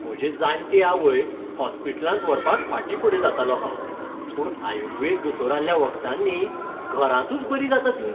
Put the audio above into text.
म्हजे जाण्टे आवयक हॉस्पिटलांत व्हरपाक फाटिंफुडें जातालों हांव, पूण आयुर्वेद दोतोराल्या वखदांनी घरांतूच बरी जाता ती.